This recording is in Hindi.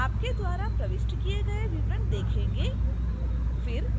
आपके द्वारा प्रविष्ट किए गए विवरण देखेंगे